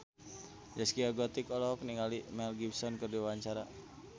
Zaskia Gotik olohok ningali Mel Gibson keur diwawancara